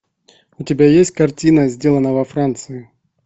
у тебя есть картина сделано во франции